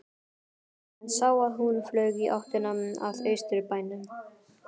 Hann sá að hún flaug í áttina að Austurbænum.